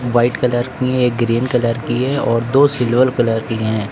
White colour की एक green colour की है और दो सिल्वर कलर की हैं।